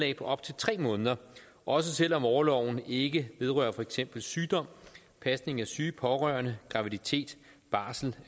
i op til tre måneder også selv om orloven ikke vedrører for eksempel sygdom pasning af syge pårørende graviditet barsel